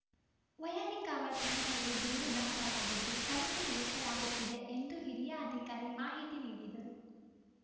ವೈಯಾಲಿಕಾವಲ್‌ ಠಾಣೆಯಲ್ಲಿ ದೂರು ದಾಖಲಾಗಿದ್ದು ತನಿಖೆ ನಡೆಸಲಾಗುತ್ತಿದೆ ಎಂದು ಹಿರಿಯ ಅಧಿಕಾರಿ ಮಾಹಿತಿ ನೀಡಿದರು